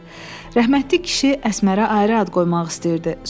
Rəhmətlik kişi Əsmərə ayrı ad qoymaq istəyirdi.